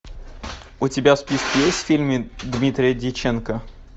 у тебя в списке есть фильмы дмитрия дьяченко